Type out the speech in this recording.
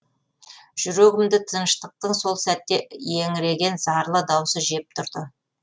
жүрегімді тыныштықтың сол сәтте еңіреген зарлы даусы жеп тұрды